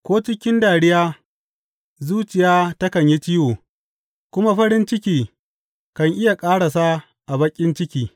Ko cikin dariya zuciya takan yi ciwo, kuma farin ciki kan iya ƙarasa a baƙin ciki.